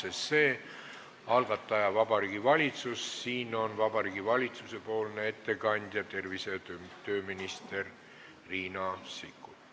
Eelnõu algataja on Vabariigi Valitsus ja Vabariigi Valitsuse poolne ettekandja on tervise- ja tööminister Riina Sikkut.